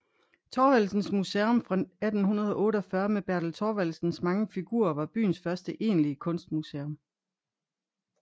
Thorvaldsens Museum fra 1848 med Bertel Thorvaldsens mange figurer var byens første egentlige kunstmuseum